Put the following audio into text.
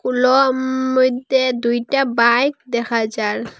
উলম মইধ্যে দুইটা বাইক দেখা যার।